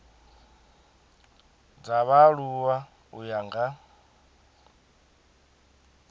dza vhaaluwa u ya nga